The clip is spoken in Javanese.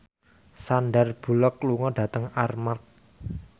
Sandar Bullock lunga dhateng Armargh